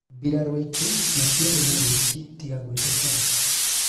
mbirarũ aitũ matiarĩ na wĩki tiga gwĩtetera.